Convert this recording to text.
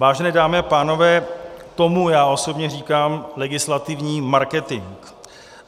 Vážené dámy a pánové, tomu já osobně říkám legislativní marketing.